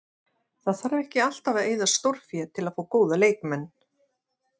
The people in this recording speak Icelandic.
Það þarf ekki alltaf að eyða stórfé til að fá góða leikmenn.